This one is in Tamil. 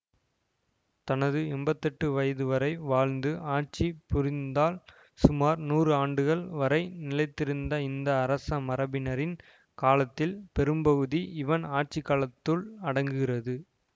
தனது எம்பத்தி எட்டு வயது வரை வாழ்ந்து ஆட்சி புரிந்தால் சுமார் நூறு ஆண்டுகள் வரை நிலைத்திருந்த இந்த அரச மரபினரின் காலத்தில் பெரும்பகுதி இவன் ஆட்சிக்காலத்துள் அடங்குகிறது